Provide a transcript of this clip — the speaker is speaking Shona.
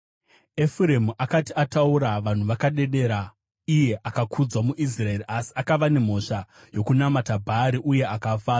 Efuremu akati ataura, vanhu vakadedera; iye akakudzwa muIsraeri. Asi akava nemhosva yokunamata Bhaari uye akafa.